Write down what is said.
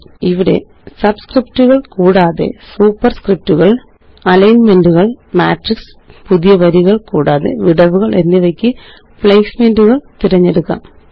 ഇവിടെ സബ്സ്ക്രിപ്റ്റുകള് കൂടാതെ സൂപ്പര്സ്ക്രിപ്റ്റുകള് അലൈന്മെന്റുകള് മാട്രിക്സ് പുതിയ വരികള് കൂടാതെ വിടവുകള് എന്നിവയ്ക്ക് പ്ലേസ്മെന്റുകള് തിരഞ്ഞെടുക്കാം